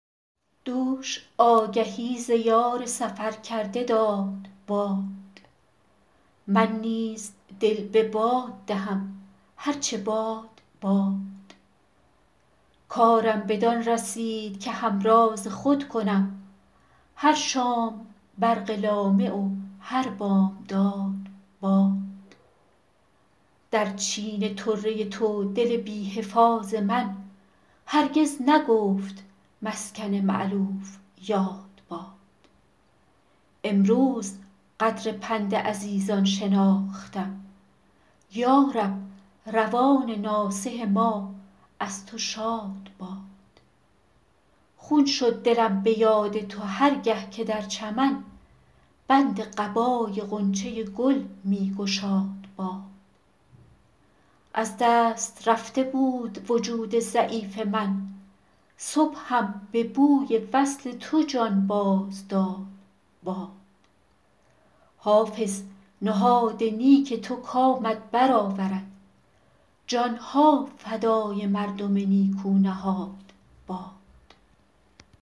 دوش آگهی ز یار سفر کرده داد باد من نیز دل به باد دهم هر چه باد باد کارم بدان رسید که همراز خود کنم هر شام برق لامع و هر بامداد باد در چین طره تو دل بی حفاظ من هرگز نگفت مسکن مألوف یاد باد امروز قدر پند عزیزان شناختم یا رب روان ناصح ما از تو شاد باد خون شد دلم به یاد تو هر گه که در چمن بند قبای غنچه گل می گشاد باد از دست رفته بود وجود ضعیف من صبحم به بوی وصل تو جان باز داد باد حافظ نهاد نیک تو کامت بر آورد جان ها فدای مردم نیکو نهاد باد